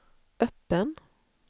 öppen